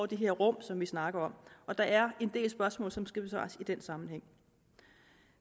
de her rum som vi snakker og der er en del spørgsmål som skal besvares i den sammenhæng